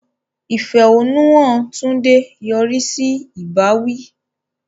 Ìfẹ̀hónúhàn Tunde yọrí sí ìbáwí.